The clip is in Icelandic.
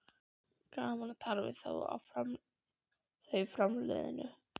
Gaman að tala við þá framliðnu